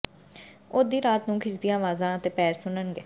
ਉਹ ਅੱਧੀ ਰਾਤ ਨੂੰ ਖਿੱਚਦੀਆਂ ਆਵਾਜ਼ਾਂ ਅਤੇ ਪੈਰ ਸੁਣਨਗੇ